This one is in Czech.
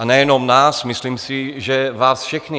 A nejenom nás, myslím si, že vás všechny.